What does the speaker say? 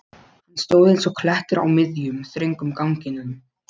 Hann stóð eins og klettur á miðjum, þröngum ganginum.